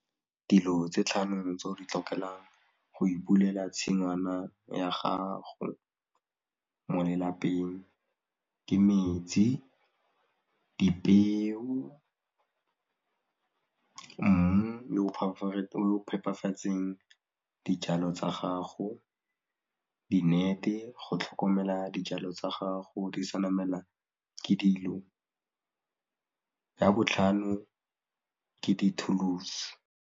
Dilo tse tlhano tse o di tlhokelang go ipulela tshingwana ya gago mo lelapeng ke metsi, dipeo, mmu o o phepafatseng dijalo tsa gago di-net-e, go tlhokomela dijalo tsa gago di sa namelwa ke dilo, ya botlhano ka dithulusi.